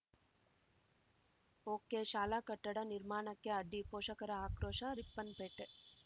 okay ಶಾಲಾ ಕಟ್ಟಡ ನಿರ್ಮಾಣಕ್ಕೆ ಅಡ್ಡಿ ಪೋಷಕರ ಅಕ್ರೋಶ ರಿಪ್ಪನ್‌ಪೇಟೆ